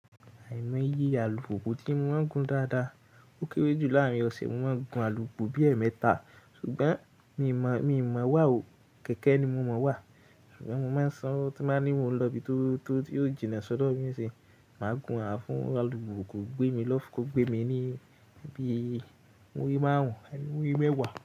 Àìmọ́ye alùpùpù tí mo máa ń gun dáadáa. Ó kéré jù láàárín ọ̀sẹ̀, mo máa ń gun alùpùpù bí ẹ̀ẹ̀mẹta, ṣùgbọ́n mi ò mọ̀, mi ò mọ̀ wá o. Kẹ̀kẹ́ ni mo mọ̀ wá, ṣùgbọ́n mo máa ń san tí máa ní mo lọ ibi tó, tó yóò jìnnà sọ́dọ̀ mí ni sí, màá gun á fún alùpùpù kó gbé mi lọ fún, kó gbé mi níbí muri maarun, àbí muri meewa.